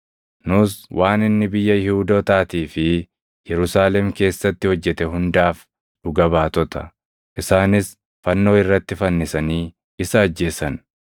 “Nus waan inni biyya Yihuudootaatii fi Yerusaalem keessatti hojjete hundaaf dhuga baatota. Isaanis fannoo irratti fannisanii isa ajjeesan.